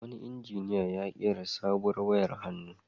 Wani injiniya ya ƙera sabuwar wayar hannu.